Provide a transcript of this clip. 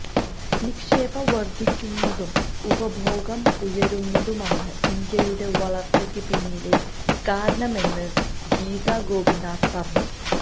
നിക്ഷേപം വർധിക്കുന്നതും ഉപഭോഗം ഉയരുന്നതുമാണ് ഇന്ത്യയുടെ വളർച്ചക്ക് പിന്നിലെ കാരണമെന്ന് ഗീത ഗോപിനാഥ് പറഞ്ഞു